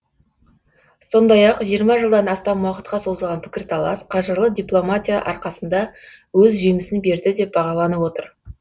сондай ақ жиырма жылдан астам уақытқа созылған пікірталас қажырлы дипломатия арқасында өз жемісін берді деп бағаланып отыр